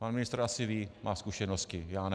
Pan ministr asi ví, má zkušenosti, já ne.